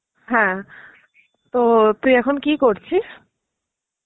হ্যাঁ, তো তুই এখন কি করছিস?